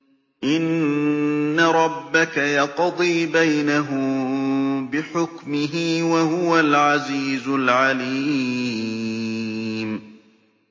إِنَّ رَبَّكَ يَقْضِي بَيْنَهُم بِحُكْمِهِ ۚ وَهُوَ الْعَزِيزُ الْعَلِيمُ